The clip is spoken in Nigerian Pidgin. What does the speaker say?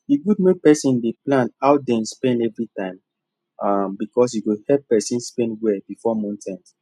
e good make person dey plan how dem spend everytime um becsuase e go help person spend well before month end